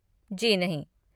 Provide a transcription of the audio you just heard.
जी नहीं।